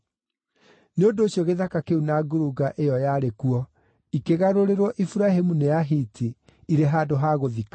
Nĩ ũndũ ũcio gĩthaka kĩu na ngurunga ĩyo yarĩ kuo ikĩgarũrĩrwo Iburahĩmu nĩ Ahiti irĩ handũ ha gũthikanaga.